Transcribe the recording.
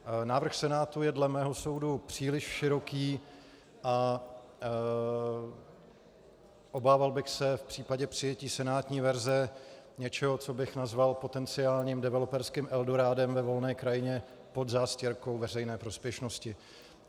Návrh Senátu je dle mého soudu příliš široký a obával bych se v případě přijetí senátní verze něčeho, co bych nazval potenciálním developerským eldorádem ve volné krajině pod zástěrkou veřejné prospěšnosti.